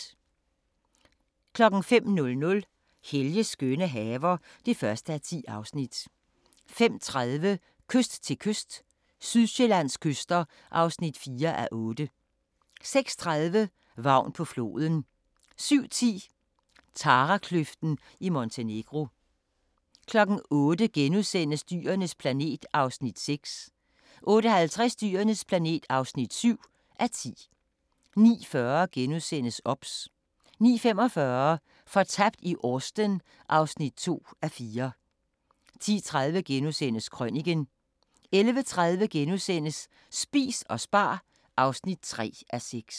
05:00: Helges skønne haver (1:10) 05:30: Kyst til kyst – Sydsjællands kyster (4:8) 06:30: Vagn på floden 07:10: Tarakløften i Montenegro 08:00: Dyrenes planet (6:10)* 08:50: Dyrenes planet (7:10) 09:40: OBS * 09:45: Fortabt i Austen (2:4) 10:30: Krøniken * 11:30: Spis og spar (3:6)*